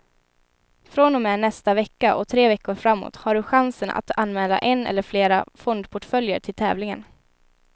Från och med nästa vecka och tre veckor framåt har du chansen att anmäla en eller flera fondportföljer till tävlingen.